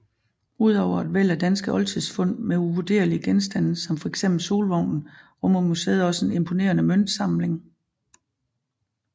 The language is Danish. Udover et væld af danske oldtidsfund med uvurderlige genstande som fx Solvognen rummer museet også en imponerende møntsamling